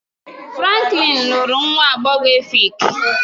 Franklin lụrụ nwa agbọghọ Efik